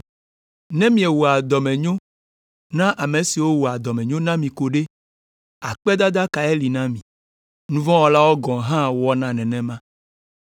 Ne miewɔa dɔmenyo na ame siwo wɔa dɔmenyo na mi ko ɖe, akpedada kae li na mi? Nu vɔ̃ wɔlawo gɔ̃ hã wɔna nenema!